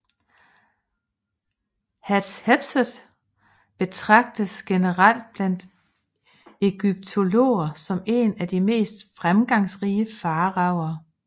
Hatshepsut betragtes generelt blandt egyptologer som en af de mest fremgangsrige faraoer